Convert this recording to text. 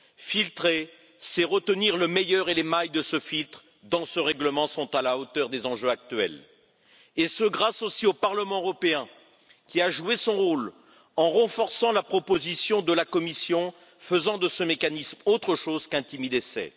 Filtrer, c'est retenir le meilleur et les mailles de ce filtre, dans ce règlement, sont à la hauteur des enjeux actuels, et ce grâce, aussi, au Parlement européen, qui a joué son rôle en renforçant la proposition de la Commission, faisant de ce mécanisme autre chose qu'un timide essai.